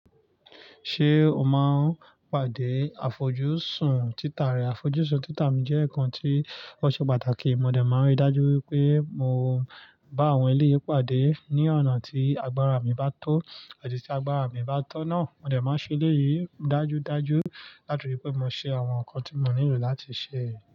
Ṣé o máa ń pàdé àfojúsùn títà rẹ? Àfojúsùn títà mi jẹ́ nǹkan tí ó ṣe pàtàkì. Mo dẹ̀ máa ń rí dájú pé mo bá àwọn eléyìí pàdé ní ọ̀nà tí agbára mi bá tó, àti tí agbára mi bá tọ́ ná. Mo dẹ̀ máa ń ṣe eléyìí dájúdájú láti òpin pé mo ṣe àwọn nǹkan tí mo nílò láti ṣe.